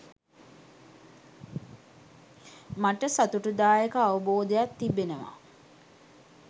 මට සතුටුදායක අවබෝධයක් තිබෙනවා